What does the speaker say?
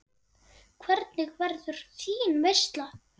Hvernig verður þín veisla?